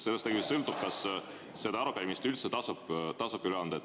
Sellest tegelikult sõltub, kas arupärimist üldse tasub üle anda.